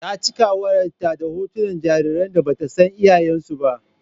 Ta cika wayar ta da hoton jaririn da batan san iyayen su ba.